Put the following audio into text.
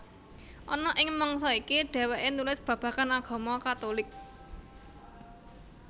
Ana ing mangsa iki dhèwèké nulis babagan agama Katulik